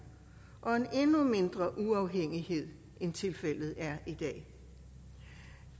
og en endnu mindre uafhængighed end tilfældet er i dag